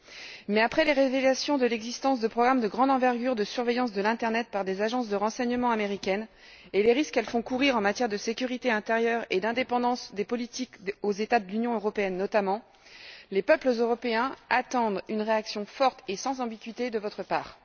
Toutefois, après les révélations concernant l'existence de programmes de grande envergure de surveillance de l'internet par des agences de renseignement américaines et les risques qu'elles font courir, en matière de sécurité intérieure et d'indépendance des politiques, notamment aux États de l'Union européenne, les peuples européens attendent une réaction forte et sans ambiguïté de votre part.